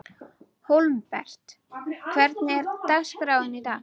Hólmbert, hvernig er dagskráin í dag?